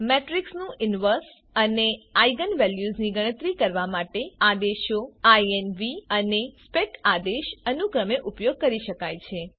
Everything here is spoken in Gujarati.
મેટ્રીક્સનું ઇન્વર્સ અને આઇજેન વેલ્યુઝની ગણતરી કરવા માટે આદેશો ઇન્વ અને સ્પેક આદેશ અનુક્રમે ઉપયોગ કરી શકાય છે